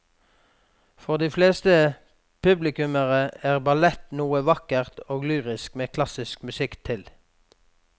For de fleste publikummere er ballett noe vakkert og lyrisk med klassisk musikk til.